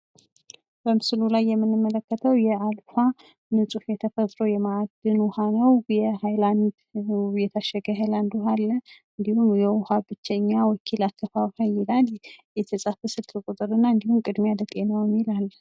በምስሉ ላይ የምንመለከተው የአልፋ ንጹሕ የተፈጥሮ የማዕድን ውሃ ነው። የታሸገ የሃይላንድ ውሃ አለ። እንዲሁም የውሃ ብቸኛ ወኪል አከፋፋይ ይላል። የተጻፈ ስልክ ቁጥርና እንዲሁም ቅድሚያ ለጤናዎ የሚል አለ።